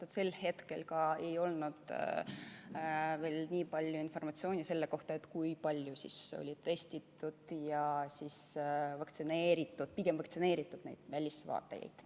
Sel hetkel ei olnud veel informatsiooni selle kohta, kui palju on testitud ja vaktsineeritud välisvaatlejaid.